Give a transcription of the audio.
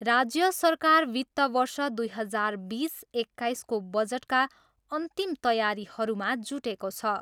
राज्य सरकार वित्त वर्ष दुई हजार बिस एक्काइसको बजटका अन्तिम तयारीहरूमा जुटेको छ।